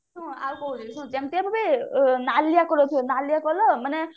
ନାଲିଆ color ଥିବ ନାଲିଆ color ମାନେ